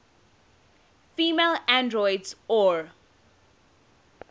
female androids or